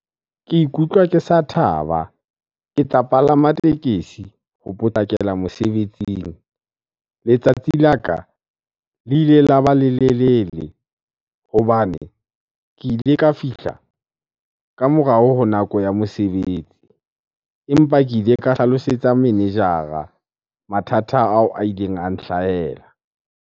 Ke ikutlwa ke sa thaba, ke tla palama tekesi ho potlakela mosebetsing. Letsatsi la ka le ile la ba lelelele hobane ke ile ka fihla ka morao ho nako ya mosebetsi. Empa ke ile ka hlalosetsa manager-a mathata ao a ileng a nhlahella.